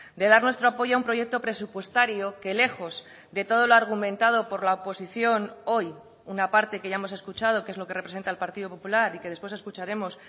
de dar nuestro apoyo a un proyecto presupuestario que lejos de todo el argumentado por la oposición hoy una parte que ya hemos escuchado que es lo que representa el partido popular y que después escucharemos